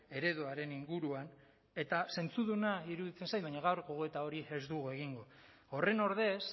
ereduaren inguruan eta zentzuduna iruditzen zait baina gaur gogoeta hori ez dugu egingo horren ordez